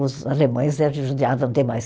Os alemães s judiavam demais.